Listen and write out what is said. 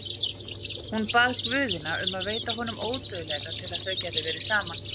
Hún bað guðina um að veita honum ódauðleika til að þau gætu verið saman.